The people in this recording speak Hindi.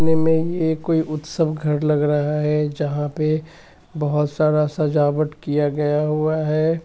ये कोई उत्सव घर लग रहा है जहा पे बोहोत सारा सजावट किया गया है ।